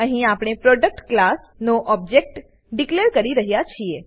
અહીં આપણે product class નો ઓબજેક્ટ ડીકલેર કરી રહ્યા છીએ